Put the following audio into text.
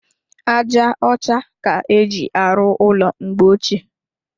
Aja ọcha ka éjị arụ ụlọ mgbe ochie.